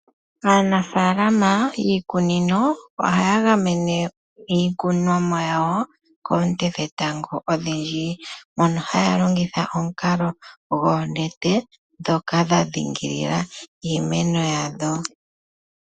Aanafaalama yiikunino ohaa gamene iikunomwa yawo koonte dhetango odhindji, mono haya longitha omukalo gwoonete ndhono dha ndhingilila iimeno yawo.